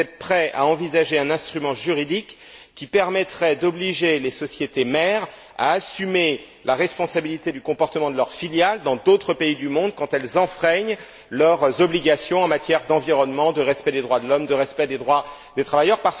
Est ce que vous êtes prêts à envisager un instrument juridique qui permettrait d'obliger les sociétés mères à assumer la responsabilité du comportement de leurs filiales dans d'autres pays du monde quand elles enfreignent leurs obligations en matière d'environnement, de respect des droits de l'homme, de respect des droits des travailleurs?